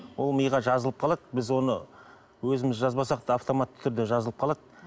ол миға жазылып қалады біз оны өзіміз жазбасақ та автоматты түрде жазылып қалады